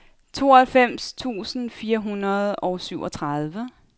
tooghalvfems tusind fire hundrede og syvogtredive